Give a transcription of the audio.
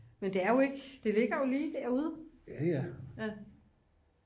men det er jo ikke det ligger jo lige derude